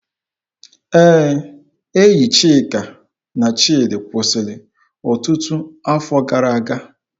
Ee, enyi Chika na Chidi kwụsịrị ọtụtụ afọ gara aga